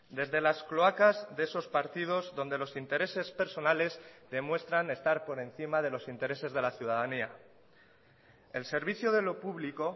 desde las cloacas de esos partidos donde los intereses personales demuestran estar por encima de los intereses de la ciudadanía el servicio de lo público